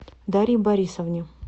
дарье борисовне